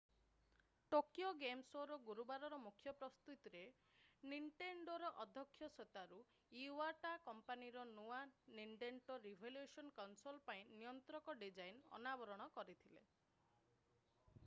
Tokyo game ଶୋ'ର ଗୁରୁବାରର ମୁଖ୍ୟ ପ୍ରସ୍ତୁତିରେ ନିଣ୍ଟେଣ୍ଡୋର ଅଧ୍ୟକ୍ଷ ସତୋରୁ ଇୱାଟା କମ୍ପାନୀର ନୂଆ ନିଣ୍ଟେଣ୍ଡୋ ରିଭଲ୍ୟୁଶନ୍ କନସୋଲ୍ ପାଇଁ ନିୟନ୍ତ୍ରକ ଡିଜାଇନ୍ ଅନାବରଣ କରିଥିଲେ